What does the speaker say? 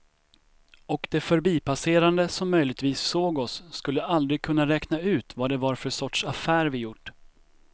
Och de förbipasserande som möjligtvis såg oss skulle aldrig kunna räkna ut vad det var för sorts affär vi gjort.